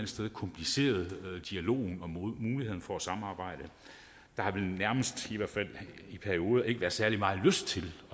sted kompliceret dialogen og mulighederne for at samarbejde der har vel nærmest i hvert fald i perioder ikke været særlig meget lyst til at